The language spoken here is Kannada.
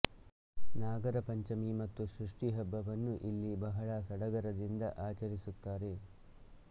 ನಾಗರ ಪಂಚಮಿ ಮತ್ತು ಷಷ್ಠಿ ಹಬ್ಬವನ್ನು ಇಲ್ಲಿ ಬಹಳ ಸಡಗರದಿಂದ ಆಚರಿಸುತ್ತಾರೆ